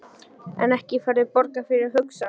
En ekki færðu borgað fyrir að hugsa?